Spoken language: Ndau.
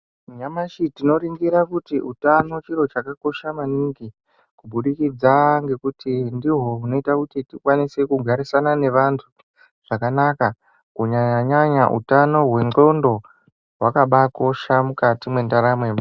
Nanyamashi tinoringira kuti utano chiro chakakosha maningi kubudikidza ngekuti ndihwo hwunoita kuti tikwanise kugarisana nevantu zvakanaka kunyanya nyanya utano hwendxoko hwakabakosha mukati mwendaramo yemuntu.